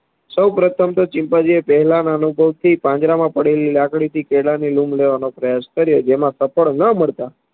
સૌ પ્રથમ તો ચિમ્પાન્જી એ પહેલાના અનુભવથી પાંજરામાં પડેલી લાકડીથી કેળાની લૂંબ લેવાનો પ્રયાશ કર્યો જેમાં સફળ ન મળતા